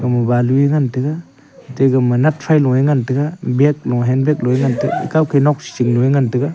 balu e ngan taiga te gama natfaloe ngan taiga beig lo hand beig ekawke nokshishingnue ngan taiga.